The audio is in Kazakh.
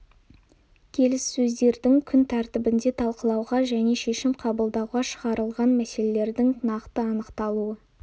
келіссөздердің күн тәртібінде талқылауға және шешім қабылдауға шығарылған мәселелердің нақты анықталуы